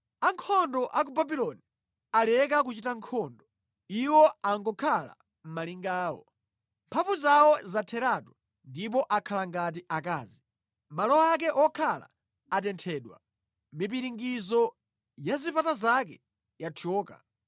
Ankhondo a ku Babuloni aleka kuchita nkhondo; iwo angokhala mʼmalinga awo. Mphamvu zawo zatheratu; ndipo akhala ngati akazi. Malo ake wokhala atenthedwa; mipiringidzo ya zipata zake yathyoka.